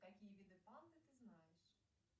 какие виды панды ты знаешь